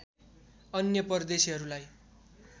अन्य परदेशीहरूलाई